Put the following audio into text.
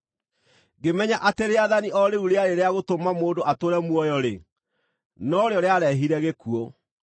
Ngĩmenya atĩ rĩathani o rĩu rĩarĩ rĩa gũtũma mũndũ atũũre muoyo-rĩ, norĩo rĩarehire gĩkuũ.